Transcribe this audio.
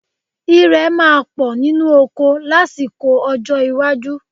Ìrẹ̀ máa pọ̀ nínú oko lásìkò ọjọ́ iwájú